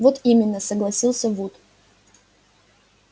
вот именно согласился вуд